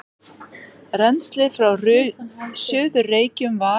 Rennslið frá Suður-Reykjum var